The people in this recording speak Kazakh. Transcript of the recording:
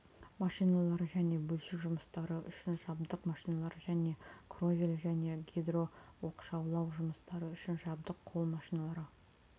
машиналар және бөлшек жұмыстары үшін жабдық машиналар және кровель және гидрооқшаулау жұмыстары үшін жабдық қол машиналары